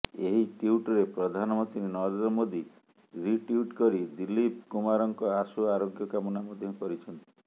ଏହି ଟ୍ୱିଟ୍ରେ ପ୍ରଧାନମନ୍ତ୍ରୀ ନରେନ୍ଦ୍ର ମୋଦି ରିଟ୍ୱିଟ୍ କରି ଦୀଲ୍ଲୀପ କୁମାରଙ୍କ ଆଶୁ ଆରୋଗ୍ୟ କାମନା ମଧ୍ୟ କରିଛନ୍ତି